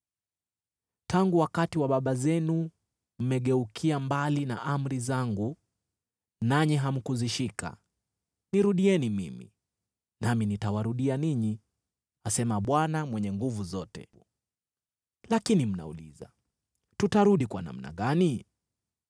Tangu wakati wa baba zenu mmegeukia mbali na amri zangu nanyi hamkuzishika. Nirudieni mimi, nami nitawarudia ninyi,” asema Bwana Mwenye Nguvu Zote. “Lakini mnauliza, ‘Tutarudi kwa namna gani?’